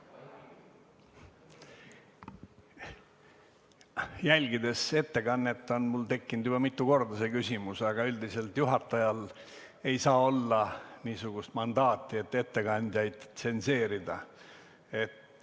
Jälgides ettekannet, tekkis mul juba mitu korda see küsimus, aga üldiselt ei saa juhatajal olla niisugust mandaati, et ettekandjaid tsenseerida.